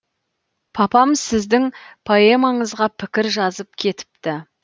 папам сіздің поэмаңызға пікір жазып кетіпті